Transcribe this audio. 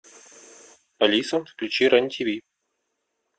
алиса включи рен тв